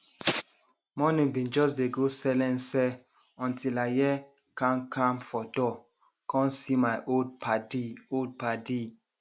morning bin jus dey go selense until i hear kam kam for door com see my old padi old padi